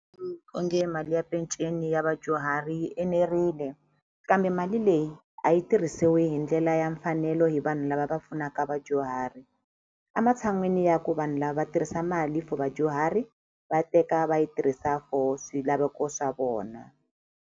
Onge mali ya peceni ya vadyuhari yi enerile kambe mali leyi a yi tirhisiwi hi ndlela ya mfanelo hi vanhu lava va pfunaka vadyuhari a matshan'wini ya ku vanhu lava tirhisa mali for vadyuhari va teka va yi tirhisa for swilaveko swa vona.